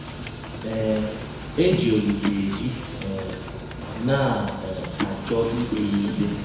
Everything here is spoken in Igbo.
um E ji Ọlise eji um, na um - achọ ikpe ya ikpe.